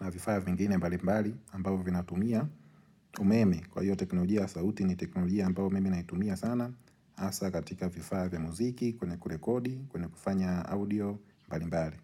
na vifaa vingine mbali mbali ambavyo vinatumia. Umeme, kwa hiyo teknolojia ya sauti ni teknolojia ambayo mimi naitumia sana. Hasa katika vifaa vya muziki, kuna kurekodi, kuna kufanya audio mbali mbali.